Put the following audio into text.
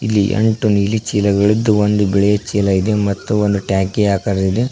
ಇಲ್ಲಿ ಎಂಟು ನಿಲ್ಲಿ ಚೀಲಗಳಿದ್ದು ಒಂದು ಬಿಳೆ ಚೀಲ ಇದೆ ಮತ್ತು ಒಂದು ಟ್ಯಾಕಿ ಅಕರ್ ಇದೆ.